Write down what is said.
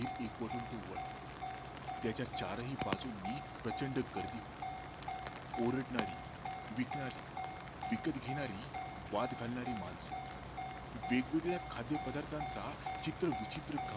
तो वळला त्याच्या चारही बाजूनी प्रचंड गर्दी होती ओरडणारी, विकणारी, विकत घेणारी, वाद घालणारी माणस वेगवेगळ्या खाद्य पदार्थांचा चित्रविचित्र गंध